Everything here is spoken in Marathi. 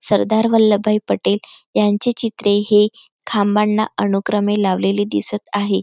सरदार वल्लभ भाई पटेल यांचे चित्र हे खांबाना अनुक्रमे लावलेले दिसत आहे.